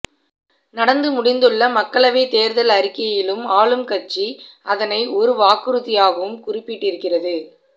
நடந்துமுடிந்துள்ள மக்களவைத் தேர்தல் அறிக்கையிலும் ஆளும் கட்சி அதனை ஒரு வாக்குறுதியாகவும் குறிப்பிட்டிருக்கிறது